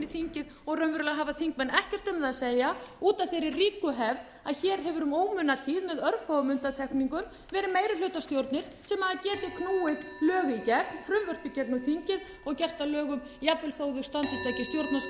þingið og raunverulega hafa þingmenn ekkert um það að segja út af þeirri ríku hefð að hér hefur um ómunatíð með örfáum undantekningum verið meirihlutastjórnir sem geta knúið frumvörp í gegnum þingið og gert að lögum jafnvel þó þau standist ekki